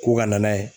Ko ka na n'a ye